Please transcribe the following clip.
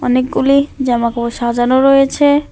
অনেকগুলি জামা কাপড় সাজানো রয়েছে।